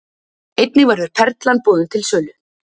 Einnig verður Perlan boðin til sölu